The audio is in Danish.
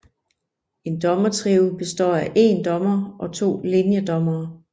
En dommertrio består af én dommer og to linjedommere